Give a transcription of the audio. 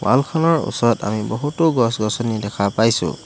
Wall খনৰ ওচৰত আমি বহুতো গছ গছনি দেখা পাইছোঁ।